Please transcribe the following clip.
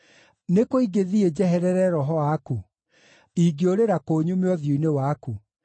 Nĩ kũ ingĩthiĩ njeherere Roho waku? Ingĩũrĩra kũ nyume ũthiũ-inĩ waku?